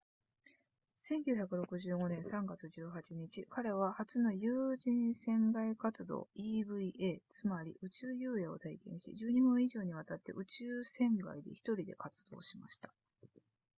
1965年3月18日彼は初の有人船外活動 eva つまり宇宙遊泳を体験し12分以上にわたって宇宙船外で1人で活動しました